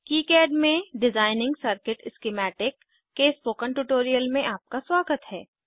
KiCad में designing circuit schematic इन के स्पोकन ट्यूटोरियल में आपका स्वागत है